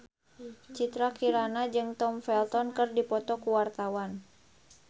Citra Kirana jeung Tom Felton keur dipoto ku wartawan